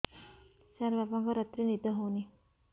ସାର ବାପାଙ୍କର ରାତିରେ ନିଦ ହଉନି